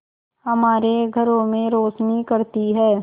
हमारे घरों में रोशनी करती है